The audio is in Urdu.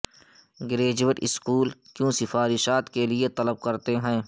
گریجویٹ اسکول کیوں سفارشات کے لئے طلب کرتے ہیں